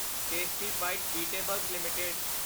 tasty bite eatables LTD